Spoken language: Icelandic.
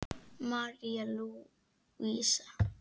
María Lúísa.